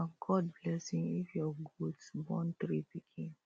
nah god blessing if your goat born three pikin